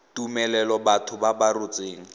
tumelelo batho ba ba rotseng